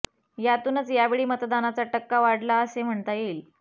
यातूनच यावेळी मतदानाचा टक्का वाढला असे म्हणता येईल